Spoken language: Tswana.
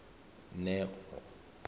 neo